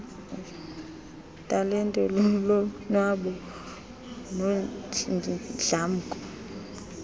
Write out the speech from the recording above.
talente lulonwabo nodlamko